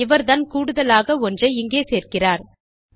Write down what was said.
இவர்தான் கூடுதலாக ஒன்றை இங்கே சேர்க்கிறார்